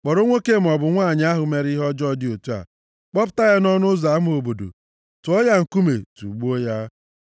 kpọrọ nwoke maọbụ nwanyị ahụ mere ihe ọjọọ dị otu a, kpọpụta ya nʼọnụ ụzọ ama obodo, tụọ ya nkume, tugbuo ya.